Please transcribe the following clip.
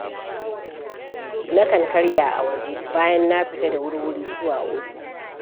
Nakan karya a waje bayan na fita da wurwuri zuwa ofis.